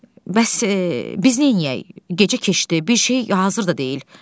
Bəs biz neyləyək, gecə keçdi, bir şey hazır da deyil.